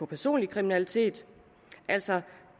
personlig kriminalitet altså